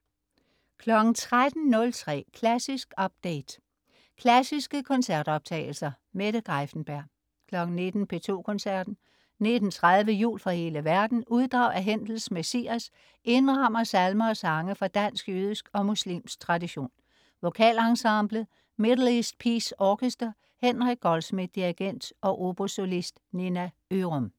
13.03 Klassisk update. Klassiske koncertoptagelser. Mette Greiffenberg 19.00 P2 Koncerten. 19.30 Jul fra hele verden. Uddrag af Händels Messias indrammer salmer og sange fra dansk, jødisk og muslimsk tradition. VokalEnsemblet. Middle East Peace Orchestra. Henrik Goldschmidt, dirigent og obosolist. Nina Ørum